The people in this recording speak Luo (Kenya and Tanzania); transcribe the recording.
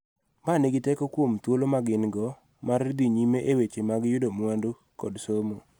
Ma nigi teko kuom thuolo ma gin-go mar dhi nyime e weche mag yuto mwandu kod somo.